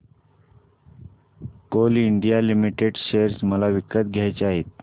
Coal India Limited share मला विकत घ्यायचे आहेत